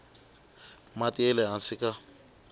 mati ya le hansi ka